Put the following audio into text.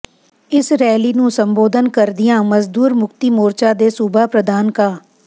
ਇਸ ਰੈਲੀ ਨੂੰ ਸੰਬੋਧਨ ਕਰਦਿਆਂ ਮਜ਼ਦੂਰ ਮੁਕਤੀ ਮੋਰਚਾ ਦੇ ਸੂਬਾ ਪ੍ਰਧਾਨ ਕਾ